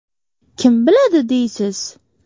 Kim biladi, deysiz?!